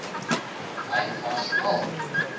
hy was al